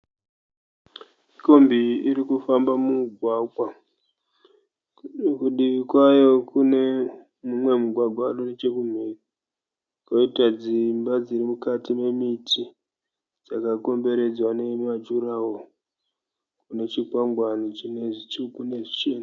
Kombi iyi iri kufamba mugwagwa. Kudivi kwayo kune mumwe mugwagwa uri nechekumhiri kwoita dzimba dziri mukati memiti dzakakomberedzwa nemajuraworo kune chikwangwani chine zvitsvuku nezvichena.